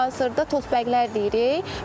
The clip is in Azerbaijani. Hal-hazırda toz bəqlər deyirik.